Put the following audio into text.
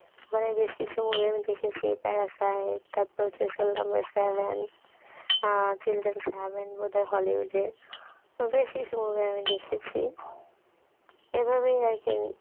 ওখানে বেশ কিছু movie আমি দেখেছি parasite , তারপরে হচ্ছে seven অ্যাঁ children's heaven বোধহয় hollywood এর বেশ কিছু movie আমি দেখেছি এভাবেই আর কি